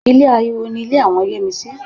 Ilé aláriwo ni ilé àwọn Yẹ́misí